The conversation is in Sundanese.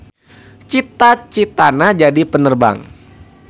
Cita-citana jadi penerbang.